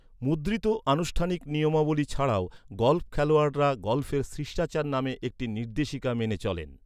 মুদ্রিত আনুষ্ঠানিক নিয়মাবলী ছাড়াও গল্ফ খেলোয়াড়রা গল্ফের শিষ্টাচার নামে একটি নির্দেশিকা মেনে চলেন।